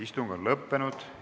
Istung on lõppenud.